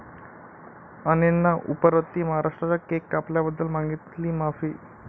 अणेंना उपरती, महाराष्ट्राचा केक कापल्याबद्दल मागितली माफी